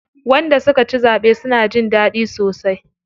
Wanda suka ci zaɓe suna jin daɗi sosai.